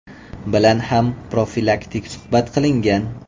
bilan ham profilaktik suhbat qilingan.